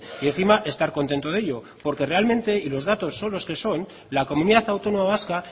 y encima estar contento de ello porque realmente y los datos son los que son la comunidad autónoma vasca